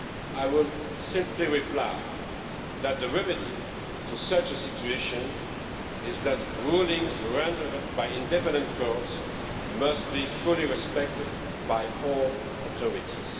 I will simply reply that the remedy to such a situation is that rulings rendered by independent courts must be fully respected by all authorities.